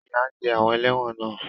Ìyà á jẹ àwọn ẹlẹ́wọ̀n náà.